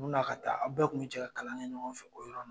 U bina ka taa aw bɛɛ kun bi cɛ ka kalan kɛ ɲɔgɔn fɛ o yɔrɔ